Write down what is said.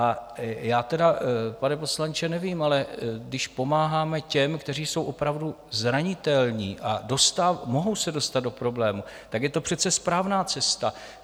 A já tedy, pane poslanče, nevím, ale když pomáháme těm, kteří jsou opravdu zranitelní a mohou se dostat do problémů, tak je to přece správná cesta.